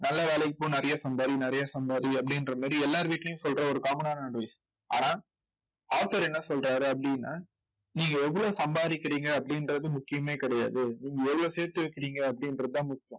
நல்ல வேலைக்கு போ நிறைய சம்பாதி நிறைய சம்பாதி அப்படின்ற மாதிரி எல்லார் வீட்டிலயும் சொல்ற ஒரு common advice ஆனால் author என்ன சொல்றாரு அப்படின்னா நீங்க எவ்வளவு சம்பாதிக்கிறீங்க அப்படின்றது முக்கியமே கிடையாது. நீங்க எவ்வளவு சேர்த்து வைக்கிறீங்க அப்படின்றதுதான் முக்கியம்